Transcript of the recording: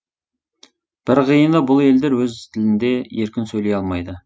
бір қиыны бұл елдер өз тілінде еркін сөйлей алмайды